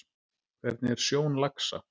Hvernig er sjón laxa?